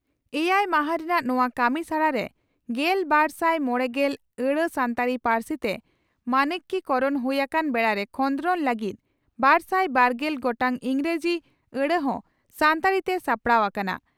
ᱮᱭᱟᱭ ᱢᱟᱦᱟ ᱨᱮᱱᱟᱜ ᱱᱚᱣᱟ ᱠᱟᱹᱢᱤᱥᱟᱲᱟ ᱨᱮ ᱜᱮᱞᱵᱟᱨᱥᱟᱭ ᱢᱚᱲᱮᱜᱮᱞ ᱟᱹᱲᱟᱹ ᱥᱟᱱᱛᱟᱲᱤ ᱯᱟᱹᱨᱥᱤ ᱛᱮ ᱢᱟᱱᱠᱤᱠᱚᱨᱚᱬ ᱦᱩᱭ ᱟᱠᱟᱱ ᱵᱮᱲᱟᱨᱮ ᱠᱷᱚᱸᱫᱽᱨᱚᱫᱽ ᱞᱟᱹᱜᱤᱫ ᱵᱟᱨᱥᱟᱭ ᱵᱟᱨᱜᱮᱞ ᱜᱚᱴᱟᱝ ᱤᱸᱜᱽᱨᱟᱡᱤ ᱟᱹᱲᱟᱹ ᱦᱚᱸ ᱥᱟᱱᱛᱟᱲᱤ ᱛᱮ ᱥᱟᱯᱲᱟᱣ ᱟᱠᱟᱱᱟ ᱾